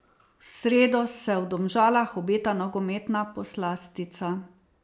V sredo se v Domžalah obeta nogometna poslastica.